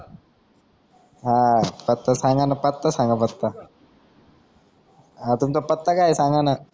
हा आता सांगाना पत्ता सांगाना पटकन अं तुमचा पत्ता काई सांगाना